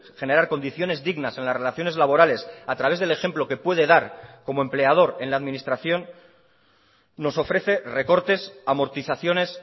generar condiciones dignas en las relaciones laborales a través del ejemplo que puede dar como empleador en la administración nos ofrece recortes amortizaciones